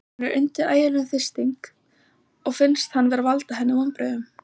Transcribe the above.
Hann er undir ægilegum þrýstingi og finnst hann vera að valda henni vonbrigðum.